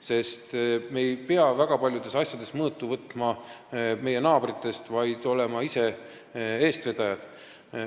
Me ei pea väga paljudes asjades mõõtu võtma meie naabritest, vaid me peame olema ise eestvedajad.